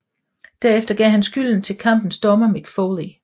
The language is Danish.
Derefter gav han skylden til kampens dommer Mick Foley